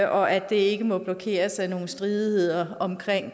og at det ikke må blokeres af nogle stridigheder om